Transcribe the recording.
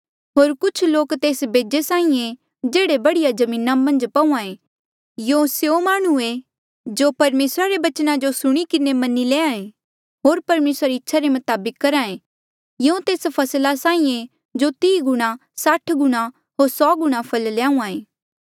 होर कुछ लोक तेस बेजे साहीं ऐें जेह्ड़े बढ़िया जमीना मन्झ पहूंआं ऐें यूं स्यों माह्णुं ऐें जो परमेसरा रे बचना जो सुणी किन्हें मनी लैंहां ऐें होर परमेसरा री इच्छा रे मताबक करहा ऐें यूं तेस फसला साहीं ऐें जो तीह गुणा साठ गुणा होर सौ गुणा फल ल्याहूहाँ ऐें